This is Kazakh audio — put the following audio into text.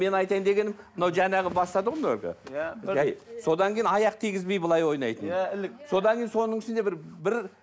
мен айтайын дегенім мынау жаңағы бастады ғой мынау әлгі иә жай содан кейін аяқ тигізбей былай ойнайтын иә ілік содан кейін соның ішінде бір бір